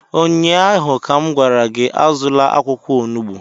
Ụnyahụ m gwara gị, azụla akwụkwọ onugbu!